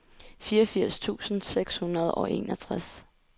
fireogfirs tusind seks hundrede og enogtres